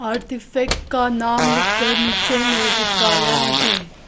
का नाम लिखकर नीचे में चिपकाया है।